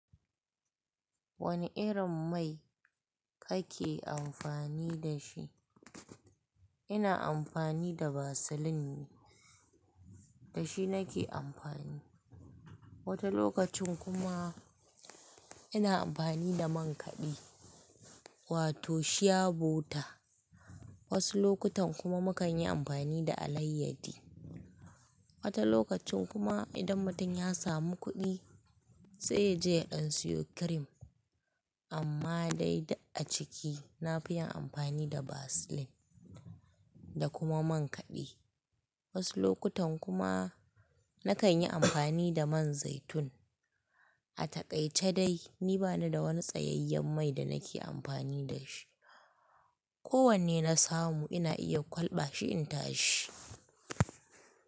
Wani irin mai kake amfani da shi? Ina amfani da vaseline ne, da shi nake amfani. Wani okacin kuma ina amfani da man kaɗi, wato shi ya bota. Wasu lokutan kuma mukan yi amfani da alayyadi. Wata lokacin kuma idan mutum ya samu kuɗi, sai yaje ya siyo cream. Amma dai duk a ciki, na fi yin amfani da vaseline da kuma man kaɗe Wasu lokutan kuma nakan yi amfani da man zaitun. A taƙaice dai ni bani da wani tsayayyen mai da nake amfani da shi. Ko wanne na samu ina iya kwalɓa shi in tashi.